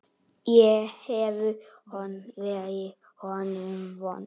Ég hef verið honum vond.